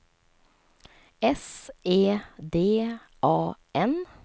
S E D A N